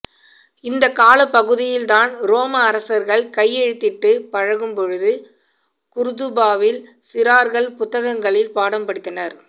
இந்த காலப்பகுதியில்தான் ரோம அரசர்கள் கைஎழுதிட்டு பழகும்பொழுது குர்துபாவில் சிறார்கள் புத்தகங்களில் பாடம் படித்தனர்